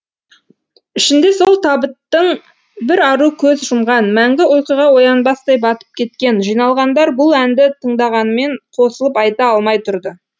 ішінде сол табыттың бір ару көз жұмған мәңгі ұйқыға оянбастай батып кеткен жиналғандар бұл әнді тыңдағанымен қосылып айта алмай тұрды